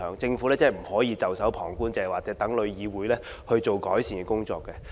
政府不可以袖手旁觀，只說待旅議會進行改善工作。